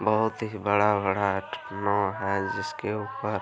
बहुत ही बड़ा-बड़ा नाव है जिसके ऊपर --